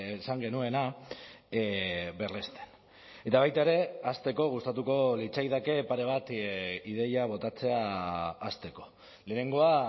esan genuena berresten eta baita ere hasteko gustatuko litzaidake pare bat ideia botatzea hasteko lehenengoa